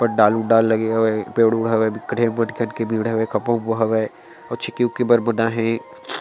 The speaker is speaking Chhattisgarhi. पडदाल उद्दाल लगे हेवय पेड़-उड हवय बिक्कट हवय आबड़ कन के भीड़ हवय खबपा उमभा हवय और चिक्की उककई बर बु नाए हे।